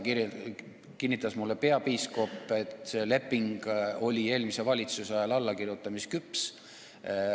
Mulle kinnitas peapiiskop, et see leping oli eelmise valitsuse ajal allakirjutamisküps.